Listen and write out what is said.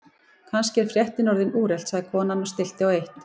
Kannski er fréttin orðin úrelt sagði konan og stillti á eitt.